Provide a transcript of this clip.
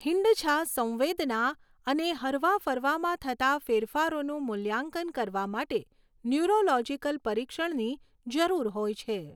હીંડછા, સંવેદના અને હરવા ફરવામાં થતાં ફેરફારોનું મૂલ્યાંકન કરવા માટે ન્યુરોલોજીકલ પરીક્ષણની જરૂર હોય છે.